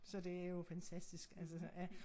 Så det jo fantastisk altså ja